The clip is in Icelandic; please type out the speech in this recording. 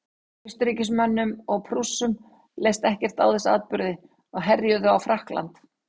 austurríkismönnum og prússum leist ekkert á þessa atburði og herjuðu á frakkland